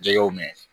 Jɛgɛw mɛn